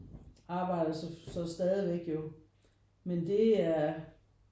Arbejder så stadigvæk jo men det er